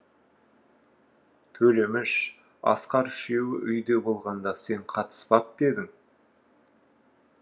төлеміш асқар үшеуі үйде болғанда сен қатыспап па едің